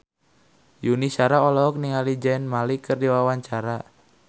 Yuni Shara olohok ningali Zayn Malik keur diwawancara